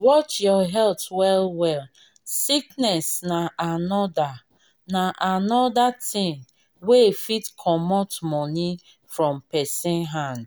watch your health well well sickness na anoda na anoda thing wey fit comot money from person hand